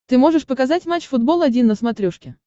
ты можешь показать матч футбол один на смотрешке